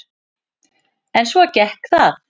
En svo gekk það.